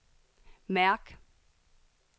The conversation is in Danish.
mærk